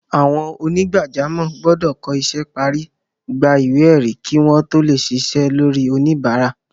Àwọn onígbàjámọ̀ gbọ́dọ̀ kọ́ isẹ́ parí, gba ìwé ẹ̀rí kí wọ́n tó lè ṣiṣẹ́ lórí oníbàárà.